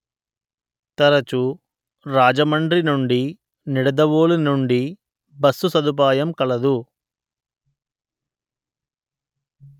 తరచు రాజమండ్రి నుండి నిడదవోలు నుండి బస్సు సదుపాయం కలదు